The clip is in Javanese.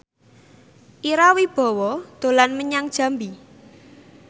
Ira Wibowo dolan menyang Jambi